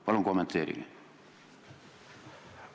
Palun kommenteerige!